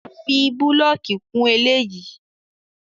Fi búlọ̀kì kún eléyìí!